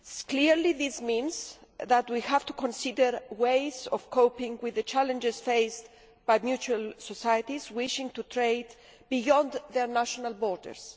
Clearly, this means that we have to consider ways of coping with the challenges faced by mutualist societies wishing to trade beyond their national borders.